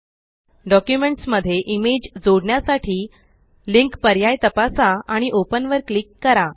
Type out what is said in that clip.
documents मध्ये image जोडण्यासाठी link पर्याय तपसा आणि ओपन वर क्लिक करा